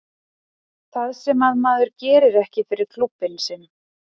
Það sem að maður gerir ekki fyrir klúbbinn sinn.